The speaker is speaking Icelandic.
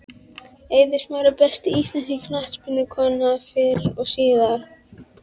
Eiður Smári Besta íslenska knattspyrnukonan fyrr og síðar?